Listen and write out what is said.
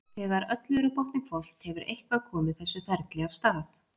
Þegar öllu er á botninn hvolft hefur eitthvað komið þessu ferli af stað.